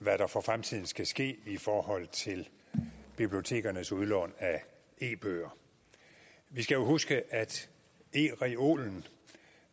hvad der for fremtiden skal ske i forhold til bibliotekernes udlån af e bøger vi skal huske at ereolen